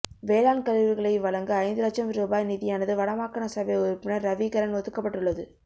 வேளாண்கருவிகளை வழங்க ஐந்து இலட்சம் உரூபாய் நிதியானது வடமாகாணசபை உறுப்பினர் ரவிகரன் ஒதுக்கப்பட்டுள்ளது